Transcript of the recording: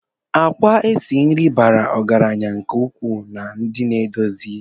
Àkwá esi nri bara ọgaranya nke ukwuu na ndi naedozi